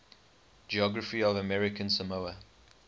geography of american samoa